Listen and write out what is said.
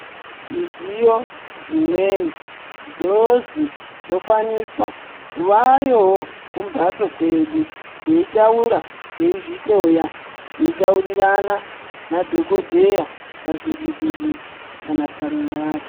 Midziyo dzimweni dzozi dzokwanisa kuvayowo kumbatso kwedu teitaura, tiezvihloya, teitaurirana nadhokodheya pazvivhiti vhiti kana parunhare.